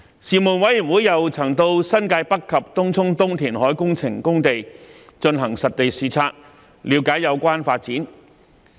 事務委員會又曾前往新界北及東涌東填海工程工地進行實地視察，了解有關發展。